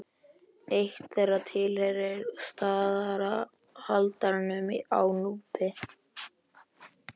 Eitt þeirra tilheyrir staðarhaldaranum á Núpi.